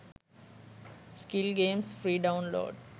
skill games free download